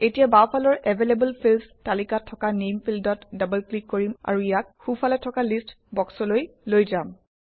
এতিয়া বাওঁফালৰ available fields তালিকাত থকা নামে ফিল্ডত ডবল ক্লিক কৰিম আৰু ইয়াক সোঁফালে থকা লিষ্ট বক্সলৈ লৈ যাম